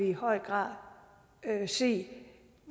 i høj grad kan se